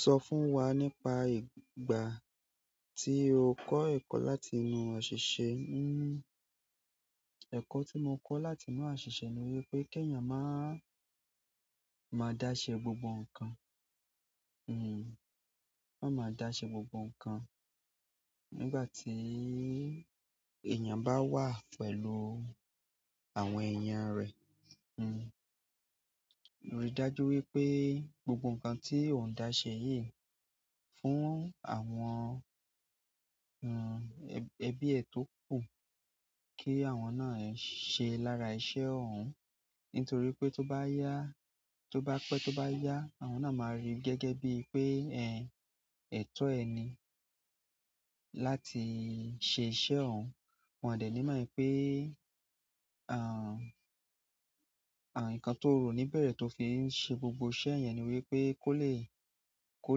Sọ fún wa nípa ìgbà tí o kọ́ ẹ̀kọ́ láti inú àṣìṣe. Ẹ̀kọ́ tí mo kọ́ láti inú àṣìṣe ni wípé kí èèyàn má máa dáṣe gbogbo ǹkan. Má máa dáṣẹ́ gbogbo ǹkan nígbà tí èèyàn bá wà pẹ̀lú àwọn ẹ̀yàn rẹ̀. Ríi dájú wípé gbogbo ǹkan tí o ń dáṣẹ́ yìí fún àwọn, ẹbí ẹ tó kù kí àwọn náà ṣe lára iṣẹ́ ọ̀hún. Nítorí pé tó bá yá, tó bá pẹ́, tó bá yá, àwọn náà máa rí i gẹ́gẹ́ bí i pé ẹ, ẹtọ ẹ ni láti ṣe iṣẹ́ ọ̀hún. Wọn ò dẹ̀ ní mọ̀ wípé, ǹkan tó o rò níbẹ̀rẹ̀ tó fi ń ṣe gbogbo iṣẹ́ yẹn ni wípé kó le, kó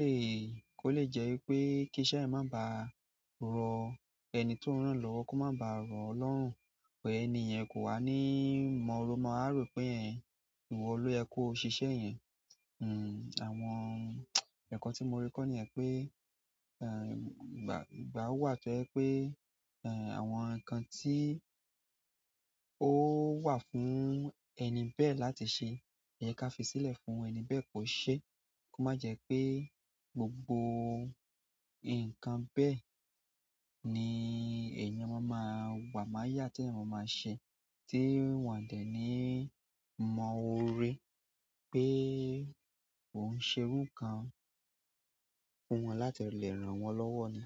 le, kó le jẹ́ wípé kí iṣẹ́ yẹn má baà rọ ẹni tó ń rán lọ́wọ́, kó má ba à rọ ọ́ lọ́rùn. But ẹni yẹn kò wá ní mọ ó ma wá rò pé, ìwọ ló yẹ kó o ṣiṣẹ́ yẹn. Àwọn ẹ̀kọ́ tí mo rí kọ́ nìyẹn pé, ìgbà, ìgbà wà tó jẹ́ pé, àwọn ǹkan tí ó wà fún ẹni bẹ́ẹ̀ láti ṣe, ìyẹn ká fi sílẹ̀ fún ẹni bẹ́ẹ̀ kó ṣe. Kó má jẹ́ pé gbogbo nǹkan bẹ́ẹ̀ ní èèyàn ma máa wà máyà tí èèyàn ma máa ṣe tí wọ́n ò dẹ̀ ní mọ́ oore pé o ń ṣe irú ǹkan fún wọn láti lè rán wọn lọ́wọ́ ni.